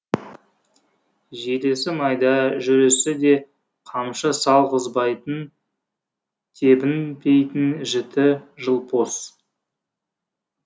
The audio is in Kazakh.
желісі майда жүрісі де қамшы сал ғызбайтын тебінтпейтін жіті жылпос